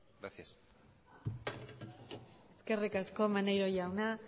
gracias eskerrik asko maneiro jauna